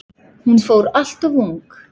Hún fór alltof ung.